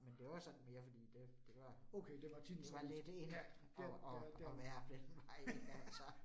Men det var sådan mere fordi det det var det var lidt in at at at være den vej ik altså